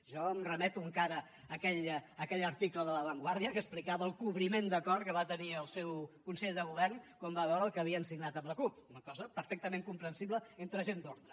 jo em remeto encara a aquell article de la vanguardia que explicava el cobriment de cor que va tenir el seu consell de govern quan va veure el que havien signat amb la cup una cosa perfectament comprensible entre gent d’ordre